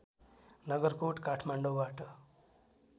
नगरकोट काठमाडौँबाट